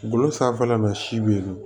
Golo sanfɛla la si be yen